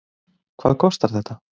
Hvað kostar þetta?